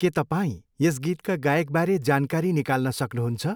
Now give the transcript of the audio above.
के तपाईँ यस गीतका गायकबारे जानकारी निकाल्न सक्नुहुन्छ?